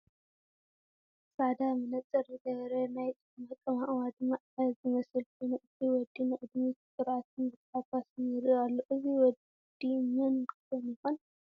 ፃዕዳ መነፅር ዝገበረ ናይ ጭሕሙ ኣቃማቕማ ድማ 0 ዝመስል ኮይኑ እቲ ወዲ ንቕድሚት ብኩርዓትን ብታሕጓስን ይሪኢ ኣሎ፡፡ አዚ ወዲ መን ኮን ይኾን?